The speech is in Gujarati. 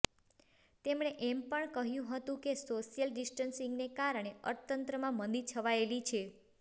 તેમણે એમ પણ કહ્યું હતું કે સોશિયલ ડિસ્ટન્સિંગને કારણે અર્થતંત્રમાં મંદી છવાયેલી છે